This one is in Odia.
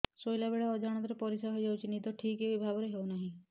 ଶୋଇଲା ବେଳେ ଅଜାଣତରେ ପରିସ୍ରା ହୋଇଯାଉଛି ନିଦ ଠିକ ଭାବରେ ହେଉ ନାହିଁ